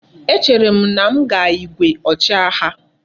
E chere m na m ga igwe ochi agha